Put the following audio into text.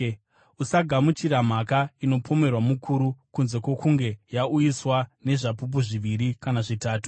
Usagamuchira mhaka inopomerwa mukuru kunze kwokunge yauyiswa nezvapupu zviviri kana zvitatu.